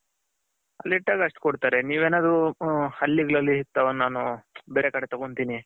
ಅಲ್ಲಿ ಇಟ್ಟಾಗ ಅಷ್ಟು ಕೊಡ್ತಾರೆ ನೀವ್ ಏನಾದ್ರು ಹಳ್ಳಿ ಗಳಲ್ಲಿ ನಾನು ಬೇರೆ ಕಡೆ ತಗೊಂತೀನಿ.